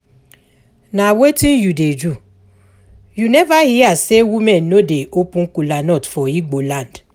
Na wetin you dey do? You never hear say women no dey open kola nut for Igbo land